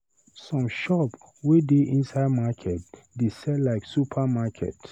Some shop wey dey inside market dey sell like super market.